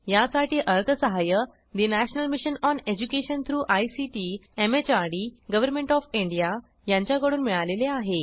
यासाठी अर्थसहाय्य national mission on education through ICT MHRD government of India यांच्याकडून मिळालेले आहे